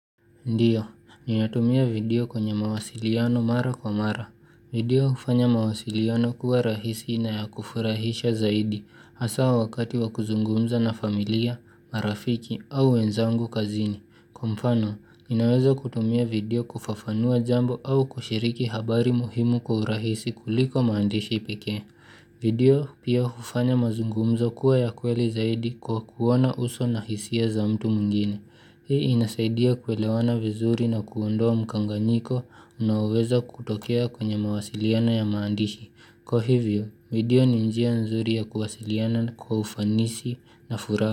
Ndio, ninatumia video kwenye mawasiliano mara kwa mara. Video hufanya mawasiliano kuwa rahisi na ya kufurahisha zaidi hasa wakati wa kuzungumza na familia, marafiki au wenzangu kazini. Kwa mfano, ninaweza kutumia video kufafanua jambo au kushiriki habari muhimu kwa urahisi kuliko maandishi pekee. Video pia hufanya mazungumzo kuwa ya kweli zaidi kwa kuona uso na hisia za mtu mwingine. Hii inasaidia kuelewana vizuri na kuondoa mkanganyiko na uweza kutokea kwenye mawasiliana ya maandishi. Kwa hivyo, video ni njia nzuri ya kuwasiliana kwa ufanisi na furaha.